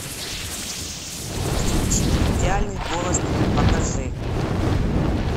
кинчик идеальный голос три покажи